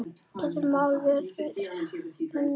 Gerður má vel við una.